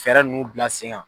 Fɛɛrɛ nun bila sen kan.